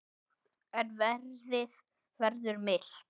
En veðrið verður milt.